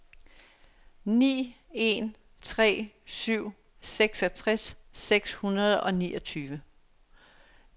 ni en tre syv seksogtres seks hundrede og niogtyve